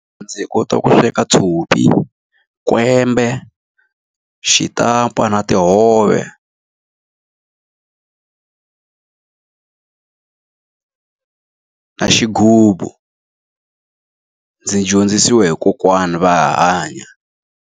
Ndzi hi kota ku sweka tshopi, kwembe, xitampa, na tihove, na xighubu. Ndzi dyondzisiwe hi kokwana va ha hanya.